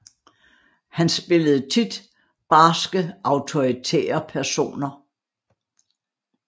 Han spillede tit barske autoritære personer